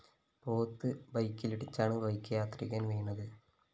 പോത്ത് ബെക്കിലിടിച്ചാണ് ബൈക്ക് യാത്രികന്‍ വീണത്